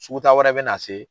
Sugu taa wɛrɛ bɛ na se,